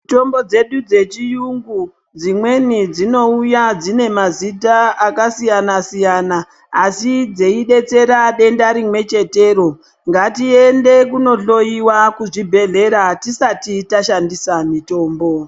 Mitombo dzedu dzechiyungu dzimweni dzinouya dzinemazita akasiyana siyana asi dzeidetsera denda rimwe chetero ngatiende kunohloyiwa kuzvibhedhlera tisati tashandisa mitombo.